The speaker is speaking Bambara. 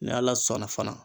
N'ala sɔnna fana